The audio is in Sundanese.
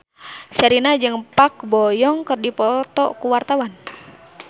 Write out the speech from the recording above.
Sherina jeung Park Bo Yung keur dipoto ku wartawan